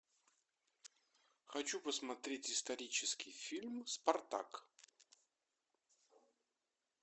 хочу посмотреть исторический фильм спартак